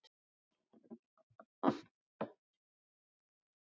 Hemmi gerir hlé á róðrinum til að þau fái notið kyrrðarinnar.